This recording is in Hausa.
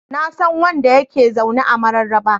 Na san wanda ya ke zaune a Mararaba.